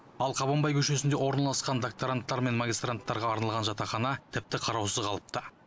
ал қабанбай көшесінде орналасқан докторанттар мен магистранттарға арналған жатақхана тіпті қараусыз қалыпты